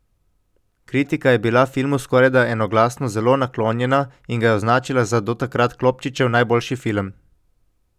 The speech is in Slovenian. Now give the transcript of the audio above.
Kritika je bila filmu skorajda enoglasno zelo naklonjena in ga je označila za do takrat Klopčičev najboljši film.